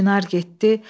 Çinar getdi.